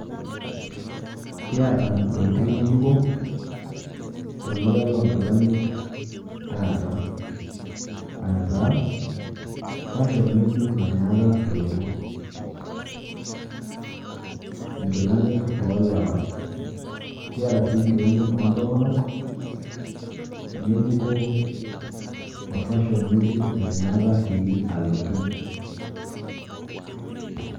Kiata ntokitin ng'ejuko tolduka lonkilani taata. Aataa fashon ng'ejuk nanyaaka alotu, inkilanik olewa. Kiata sii inkilani oontomonok ng'ejuko o  fashon ng'ejuk nanyaaka sii alotu.